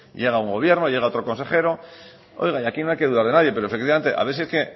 llega un gobierno llega otro consejero oiga y aquí no hay que dudar de nadie pero efectivamente a ver si es que